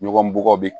Ɲɔgɔn bɔgɔ bɛ